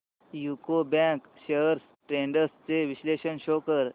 UCO bank shares trends चे विश्लेषण show कर